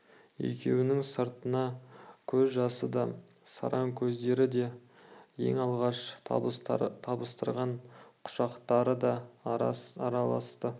екеуінің сырына көз жасы да сараң сөздері де ең алғаш табыстырған құшақтары да араласты